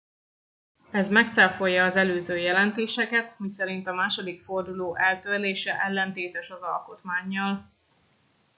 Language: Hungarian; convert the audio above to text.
ez megcáfolja az előző jelentéseket miszerint a második forduló eltörlése ellentétes az alkotmánnyal